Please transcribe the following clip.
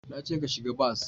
Na ce ka shiga bas!